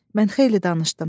Mən xeyli danışdım.